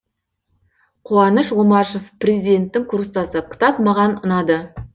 қуаныш омашев президенттің курстасы кітап маған ұнады